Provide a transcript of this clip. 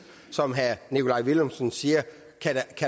som herre nikolaj villumsen siger